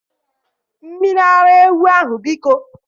Mmiri ara ewu ahu, biko!